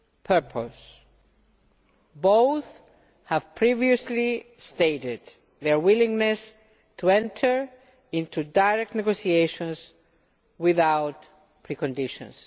purpose. Both have previously stated their willingness to enter into direct negotiations without preconditions.